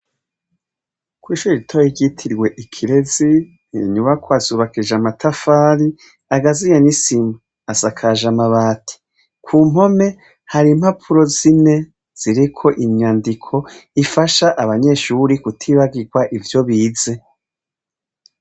Kw'ishuri ritoye iryitirwe ikirezi nyubakwa zubakij’ amatafari agaziye nisima asakaje amabati ku mpome hari impapuro zine ziriko inyandiko ifasha abanyeshuri kutibagirwa ivyo bize.